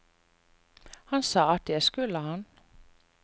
Han sa at det skulle han.